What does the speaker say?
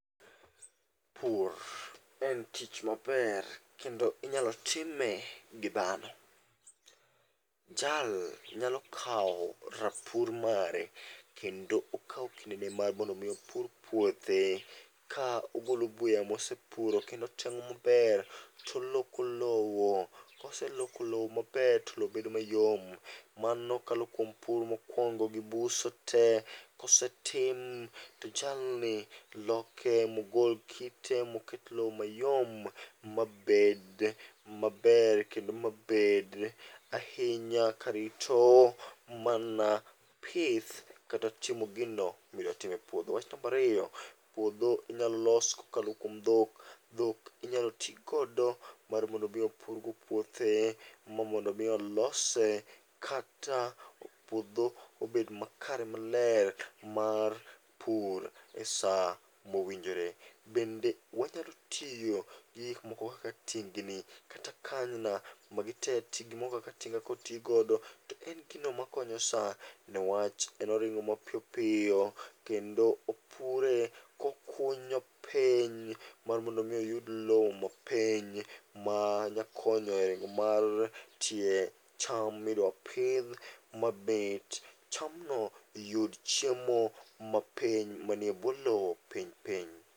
Pur en tich maber kendo inyalo time gi dhano. Jal nyalo kawo rapur mare, kendo okawo kinde ne mar mondo mi opur puothe. Ka ogolo buya mosepuro kendo oteng'o maber, toloko lowo. Koseloko lowo maber to lowo bedo mayom. Mano kalo kuom pur mokwongo gi buso te, kosetim to jalni loke mogol kite moket lo mayom mabed maber kendo mabed ahinya karito mana pith kata timo gino midwatim e puodho. Wach nambariyo, puodho inyalo los kokalo kuom dhok. Dhok inyalo ti godo mar mondo mi opurgo puothe mar mondo mi olose kata puodho obed makare maler mar pur e sa mowinjore. Bende wanyalo tiyo gi gikmoko kaka tingni, kata kanyna. Magi te ti gimo kaka tinga kotigodo to en gino makonyo sa, newach en oringo mapiyopiyo kendo opure kokunyo piny mar mondo mi oyud lowo mapiny. Ma nyakonyo e ringo mar tie cham midwa pidh ma bet chamno yud chiemo mapiny manie bwo lo piny piny.